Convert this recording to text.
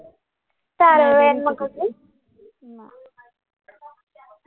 चारोळे